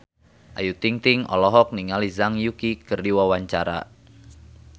Ayu Ting-ting olohok ningali Zhang Yuqi keur diwawancara